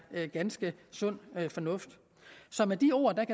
ganske sund fornuft så med de ord kan